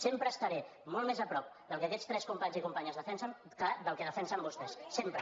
sempre estaré molt més a prop del que aquests tres companys i companyes defensen que del que defensen vostès sempre